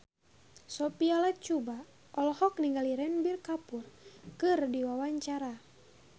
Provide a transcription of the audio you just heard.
Sophia Latjuba olohok ningali Ranbir Kapoor keur diwawancara